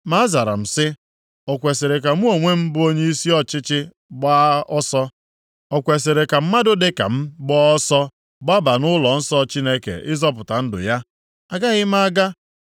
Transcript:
Ma azara m si; “O kwesiri ka mụ onwe m bụ onyeisi ọchịchị gbaa ọsọ? O kwesiri ka mmadụ dịka m + 6:11 Ọ bụ naanị ndị nchụaja ka ọ dịrị ịbanye nʼEbe kachasị Nsọ nke ụlọnsọ ukwu ahụ. \+xt Ọnụ 18:22\+xt* gbaa ọsọ gbaba nʼụlọnsọ Chineke ịzọpụta ndụ ya? Agaghị m aga.”